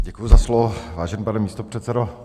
Děkuji za slovo, vážený pane místopředsedo.